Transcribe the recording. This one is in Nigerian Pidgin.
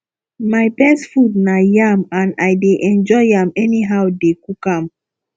my best food na yam and i dey enjoy am anyhow dey cook am